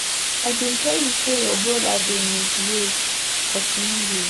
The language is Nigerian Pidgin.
I bin tell you say your brother dey misbehave but you no hear.